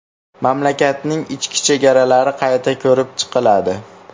Mamlakatning ichki chegaralari qayta ko‘rib chiqiladi.